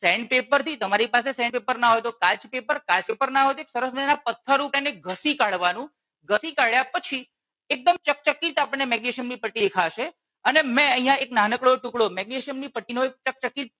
pen paper થી તમારી પાસે પેન પેપર ના હોય તો કાચ પેપર થી કાચ પેપર ના હોય તો સરસ મજાનાં એક પત્થર ઉપર એને ઘસી કાઢવાનું, ઘસી કાઢ્યા પછી એકદમ ચકચકિત આપણને મેગ્નેશિયમ ની પટ્ટી દેખાશે અને મેં અહિયાં એક નાનકડો ટુકડો મેગ્નેશિયમ ની પટ્ટી નો એક ચકચકિત